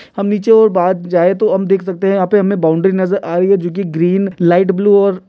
हम नीचे और बाद जाए तो यहां पे हम देख सकते है हमे बाउंड्री नजर आ रही है जो कि ग्रीन लाइट ब्लू और --